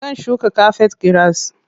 Zan shuka kafet giras.